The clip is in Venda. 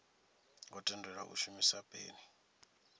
ngo tendelwa u shumisa peni